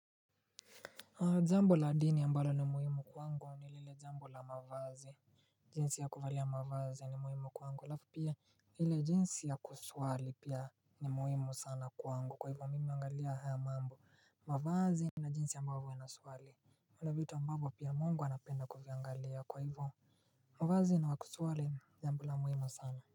Jambo la dini ambalo ni muhimu kwangu ni lile jambo la mavazi. Jinsi ya kuvalia mavazi ni muhimu kwangu alafu pia hile jinsi ya kusuali pia ni muhimu sana kwangu kwa hivyo mimi ungalia haya mambo mavazi na jinsi ambavyo inasuali unavitu ambavu pia mungu anapenda kuviangalia kwa hivyo. Mavazi na kusuali jambo la muhimu sana.